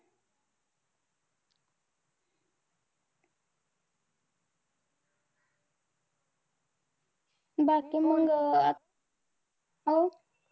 बाकी मंग अं हं?